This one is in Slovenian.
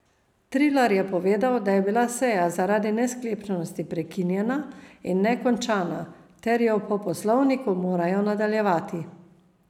Trilar je povedal, da je bila seja zaradi nesklepčnosti prekinjena in ne končana ter jo po poslovniku morajo nadaljevati.